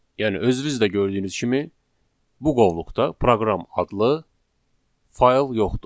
Yəni özünüz də gördüyünüz kimi bu qovluqda proqram adlı fayl yoxdur.